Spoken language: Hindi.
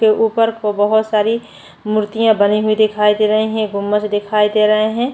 ऊपर को बहोत सारी मुर्तिया बनी दिखाई दे रही है गुम्मज दिखाई दे रहे है।